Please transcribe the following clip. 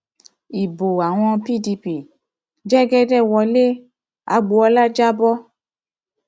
ibo àwọn pdp l jẹgẹdẹ wọlé agbọọlá jà bọ